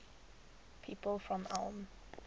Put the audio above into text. people from ulm